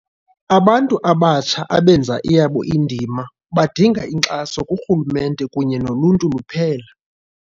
Abantu abatsha abenza eyabo indima, badinga inkxaso kurhulumente kunye noluntu luphela.